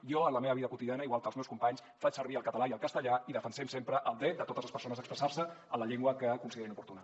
jo en la meva vida quotidiana igual que els meus companys faig servir el català i el castellà i defensem sempre el dret de totes les persones a expressar se en la llengua que considerin oportuna